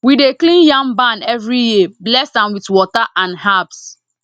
we dey clean yam barn every year bless am with water and herbs